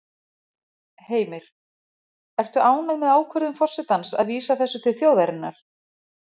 Heimir: Ertu ánægð með ákvörðun forsetans að vísa þessu til þjóðarinnar?